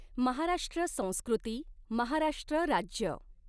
महाराष्ट्र संस्कृती महाराष्ट्र राज्य